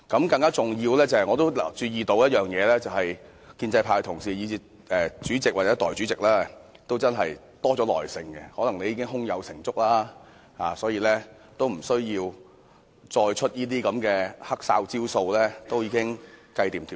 更加重要的是，我注意到建制派同事、主席或代理主席也真的多了一點耐性，可能你們已經胸有成竹，不需要再使出某些"黑哨"招數，一切已盡在掌握之中。